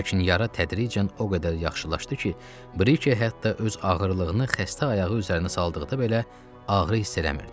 Lakin yara tədricən o qədər yaxşılaşdı ki, Brike hətta öz ağırlığını xəstə ayağı üzərinə saldıqda belə ağrı hiss eləmirdi.